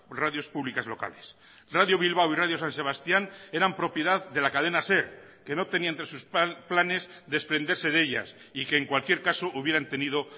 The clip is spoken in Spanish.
radios públicas locales radio bilbao y radio san sebastián eran propiedad de la cadena ser que no tenía entre sus planes desprenderse de ellas y que en cualquier caso hubieran tenido